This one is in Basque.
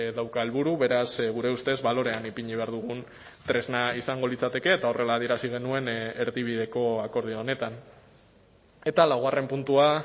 dauka helburu beraz gure ustez balorean ipini behar dugun tresna izango litzateke eta horrela adierazi genuen erdibideko akordio honetan eta laugarren puntua